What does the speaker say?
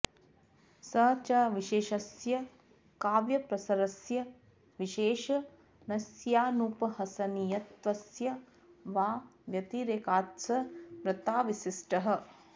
स च विशेष्यस्य काव्यप्रसरस्य विशेषणस्यानुपहसनीयत्वस्य वा व्यतिरेकात्स र्वत्राविशिष्टः